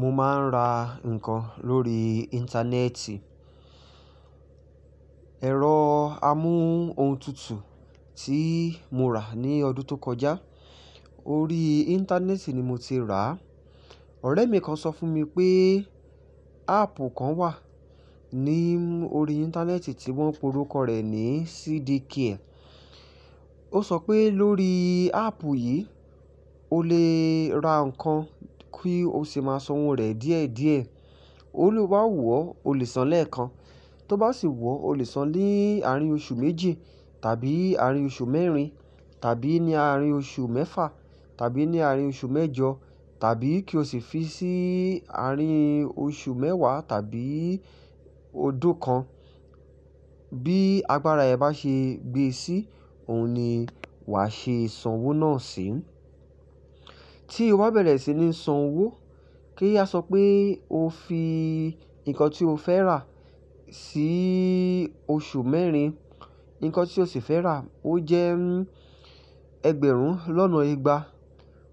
Mo máa ń ra nǹkan lórí íńtánẹ́ẹ̀tì. Ẹ̀rọ amóhun tutù tí mo rà ní ọdún tó kọjá, orí íńtánẹ́ẹ̀tì ni mo ti rà. Ọ̀rẹ́ mi kan sọ fún mi pé áàpù kan wà ní orí íńtánẹ́ẹ̀tì tí wọ́n pe orúkọ rẹ̀ ní CD care. Ó sọ pé lórí áàpù yìí, o lè ra nǹkan kí o sì máa san owó rẹ̀ díẹ̀díẹ̀. Ó ní bí o bá wò ó, o lè san lẹ́ẹ̀kan, tó bá sì wò ó, o lè san ní àárín oṣù méjì tàbí àárín oṣù mẹ́rin tàbí ní àárín oṣù mẹ́fà tàbí ní àárín oṣù mẹ́jọ tàbí kí o sì fi sí àárín oṣù mẹ́wàá tàbí ọdún kan. Bí agbára rẹ bá ṣe gbé sí, ohun ni wàá ṣe san owó náà sí. Tí o bá bẹ̀rẹ̀ sí ní san owó, kí a sọ pé o fi nǹkan tí o fẹ́ rà sí oṣù mẹ́rin, nǹkan tí o sì fẹ́ rà ó jẹ́ ẹgbẹ̀rún lọ́nà ìgbà.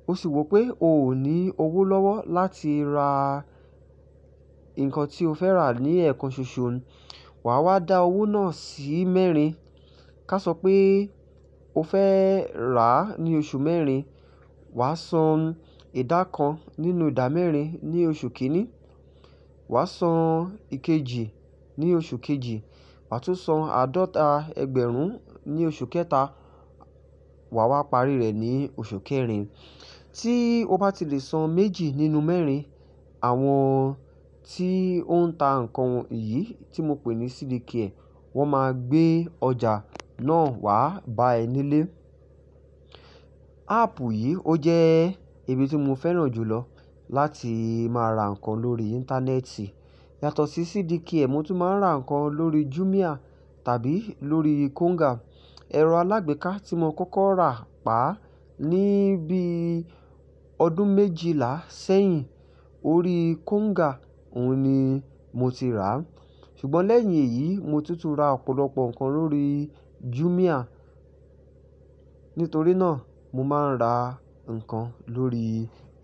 O sì wò pé o ò ní owó lọ́wọ́ láti ra nǹkan tí o fẹ́ rà ní ẹ̀ẹ̀kan ṣoṣo, wà á wá dá owó náà sí mẹ́rin. Ká sọ pé o fẹ́ rà á ní oṣù mẹ́rin, wà á san ìdá kan nínú ìdá mẹ́rin ní oṣù kìíní, wà á san ìkejì ní oṣù kejì, wà á tún san àádọ́ta ẹgbẹ̀rún ní oṣù kẹta, wà á wá parí rẹ̀ ní oṣù kẹrin. Tí o bá ti lè san méjì nínú mẹ́rin, àwọn tí ó ń ta nǹkan yìí tí mo pè ní CD care, wọ́n máa gbé ọjà náà wá bá ẹ nílé. Áàpù yìí ó jẹ́ ibi tí mo fẹ́ràn jùlọ láti máa ra nǹkan lórí íńtánẹ́ẹ̀tì. Yàtọ̀ sí CD care, mo tún máa ń ra nǹkan lórí Jumia tàbí lórí Konga. Ẹ̀rọ alágbèéká tí mo kọ́kọ́ rà pa ní bí ọdún méjìlá sẹ́yìn orí Konga, ohun ni mo ti rà. Ṣùgbọ́n lẹ́yìn èyí, mo tún tún ra ọ̀pọ̀lọpọ̀ nǹkan lórí Jumia. Nítorí náà, mo máa ń ra nǹkan lórí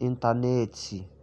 íńtánẹ́ẹ̀tì.